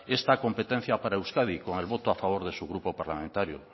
esta competencia para euskadi con el voto a favor de su grupo parlamentario